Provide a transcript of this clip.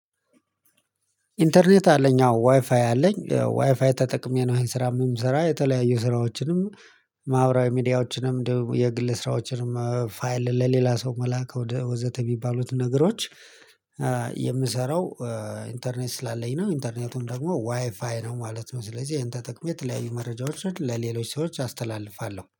ኢንተርኔት አለኝ አዎ ዋይፋይ አለኝ ዋይፋይ ተጠቅሜ ነው ይሄን ስራ የምሰራ የተለያዩ ስራዎችንም ማህበራዊ ሚዲያዎችንም ደግሞ የግል ስራዎችንም ፋይል ለሌላ ሰው መላክ ወዘተ የሚባሉት ነገሮች። የምሰራው። ኢንተርኔት ስላለኝ ነው ኢንተርኔቱም ደግሞ ዋይፋይ ነው ማለት ነው። ስለዚህ ይህን ተጠቅሜ የተለያዩ መረጃዎችን ለሌሎች ሰዎች አስተላልፋለሁ